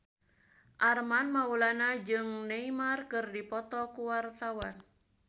Armand Maulana jeung Neymar keur dipoto ku wartawan